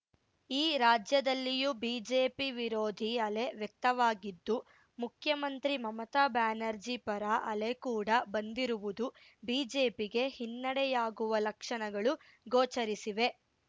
ಈ ರಾಜ್ಯದಲ್ಲಿಯೂ ಬಿಜೆಪಿ ವಿರೋಧಿ ಅಲೆ ವ್ಯಕ್ತವಾಗಿದ್ದು ಮುಖ್ಯಮಂತ್ರಿ ಮಮತಾ ಬ್ಯಾನರ್ಜಿ ಪರ ಅಲೆ ಕೂಡಾ ಬಂದಿರುವುದು ಬಿಜೆಪಿಗೆ ಹಿನ್ನಡೆಯಾಗುವ ಲಕ್ಷಣಗಳು ಗೋಚರಿಸಿವೆ